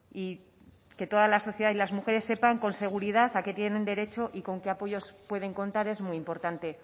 y que toda la sociedad y las mujeres sepan con seguridad a qué tienen derecho y con qué apoyos pueden contar es muy importante